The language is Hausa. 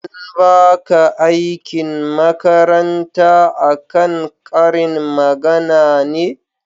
an baka aikin makaranta a kan ƙarin magana ne?